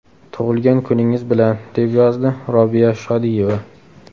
Tug‘ilgan kuningiz bilan!”, deb yozdi Robiya Shodiyeva.